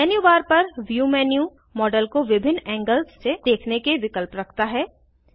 menu bar पर view menu model को विभिन्न एंगल्स से देखने के विकल्प रखता है